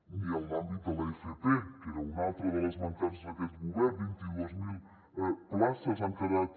ni en l’àmbit de l’fp que era una altra de les mancances d’aquest govern vint dos mil places han quedat